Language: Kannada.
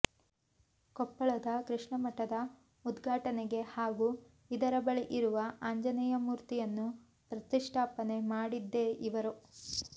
ಕೊಪ್ಪಳದ ಕೃಷ್ಣಮಠದ ಉದ್ಘಾಟನೆಗೆ ಹಾಗೂ ಇದರ ಬಳಿ ಇರುವ ಆಂಜನೇಯ ಮೂರ್ತಿಯನ್ನು ಪ್ರತಿಷ್ಠಾಪನೆ ಮಾಡಿದ್ದೇ ಇವರು